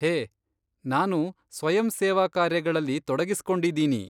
ಹೇ, ನಾನು ಸ್ವಯಂಸೇವಾಕಾರ್ಯಗಳಲ್ಲಿ ತೊಡಗಿಸ್ಕೊಂಡಿದೀನಿ.